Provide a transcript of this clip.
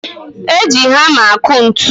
Eji hama akụ ntụ